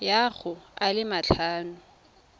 ya go a le matlhano